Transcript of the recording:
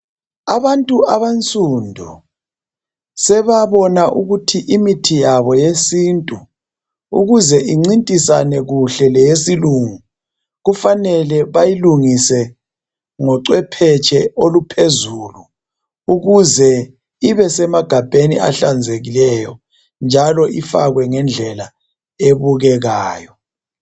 Abantu abansundu sebabona ukuthi imithi yabo eyesintu ukuze incintisane kuhle leyesilungu kufanele bayilungise ngocophetshe obuphezulu ukuze ibe esemagabheni ahlanzekileyo njalo ngendlela ebukekayo.